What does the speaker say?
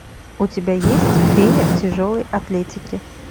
у тебя есть фея тяжелой атлетики